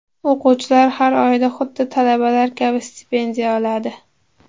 O‘quvchilar har oyda xuddi talabalar kabi stipendiya oladi.